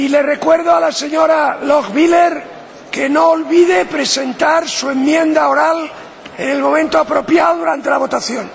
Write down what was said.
Recuerdo a la señora Lochbihler que no olvide presentar su enmienda oral en el momento apropiado, durante la votación.